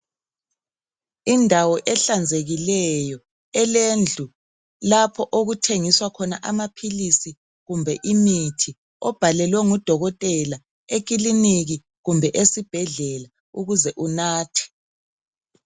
Indawo ehlanzekileyo elendlu lapho okuthengiswa khona amaphilisi kumbe imithi obhalelwe ngudokotela ekiliniki kumbe esibhedlela ukuze unathe.